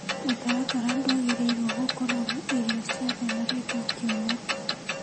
Mũtaratara ndwagĩrĩirwo gũkorwo na irio ciothe na ritwa kĩũmũ.